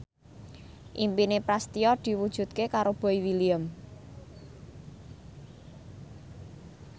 impine Prasetyo diwujudke karo Boy William